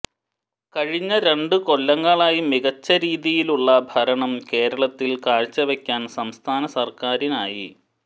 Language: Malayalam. കഴിഞ്ഞ രണ്ടു കൊല്ലങ്ങളായി മികച്ച രീതിയിലുള്ള ഭരണം കേരളത്തിൽ കാഴ്ചവെക്കാൻ സംസ്ഥാന സർക്കാരിനായി